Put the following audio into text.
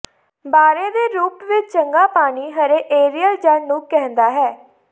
ਬਾਰੇ ਦੇ ਰੂਪ ਵਿੱਚ ਚੰਗਾ ਪਾਣੀ ਹਰੇ ਏਰੀਅਲ ਜੜ੍ਹ ਨੂੰ ਕਹਿੰਦਾ ਹੈ